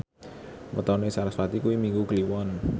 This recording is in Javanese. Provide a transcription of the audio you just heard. wetone sarasvati kuwi Minggu Kliwon